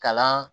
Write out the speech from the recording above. Kalan